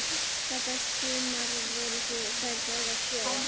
Þetta sumar voru þær báðar sjö ára.